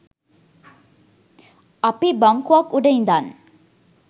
අපි බංකුවක් උඩ ඉඳන්